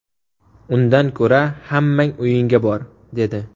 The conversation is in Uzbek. Undan ko‘ra hammang uyingga bor’ dedi.